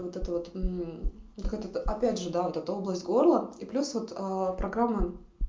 вот это вот этот опять же да область горло и плюс вот программа